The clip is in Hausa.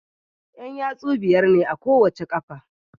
Yan yatsu biyar ne a kowace qafa